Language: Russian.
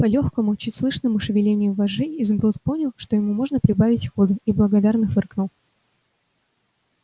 по лёгкому чуть слышному шевелению вожжей изумруд понял что ему можно прибавить ходу и благодарно фыркнул